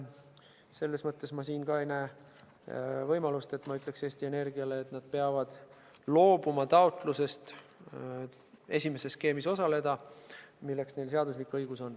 Selles mõttes ma ei näe siin võimalust, et ma ütleksin Eesti Energiale, et nad peavad loobuma taotlusest esimeses skeemis osaleda, milleks neil on seaduslik õigus.